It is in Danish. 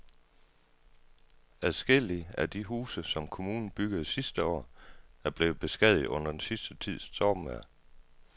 Adskillige af de huse, som kommunen byggede sidste år, er blevet beskadiget under den sidste tids stormvejr.